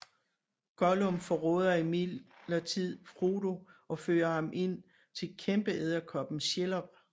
Gollum forråder imidlertid Frodo og fører ham ind til kæmpeedderkoppen Shelob